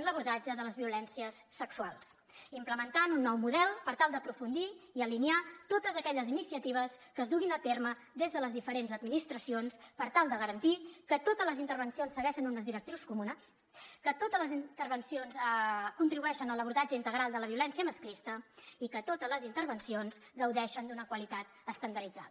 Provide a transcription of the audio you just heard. en l’abordatge de les violències sexuals implementant un nou model per tal d’aprofundir i alinear totes aquelles iniciatives que es duguin a terme des de les diferents administracions per tal de garantir que totes les intervencions segueixen unes directrius comunes que totes les intervencions contribueixen a l’abordatge integral de la violència masclista i que totes les intervencions gaudeixen d’una qualitat estandarditzada